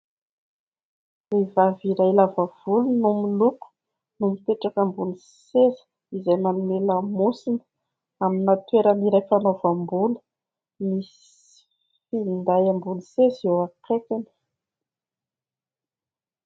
Vehivavy iray lava volo no miloko no mipetraka ambony seza izay manome lamosina amina toeran' iray fanaovam-bolo ; misy finday ambony seza eo akaikiny.